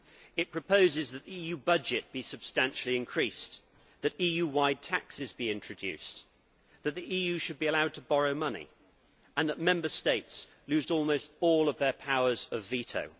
It proposes that the EU budget be substantially increased, that EU wide taxes be introduced, that the EU should be allowed to borrow money and that Member States lose almost all of their powers of veto.